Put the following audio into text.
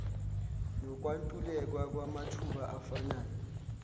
nokwentuleka kwamathuba afanayo